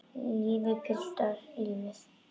Lífið, piltar, lífið.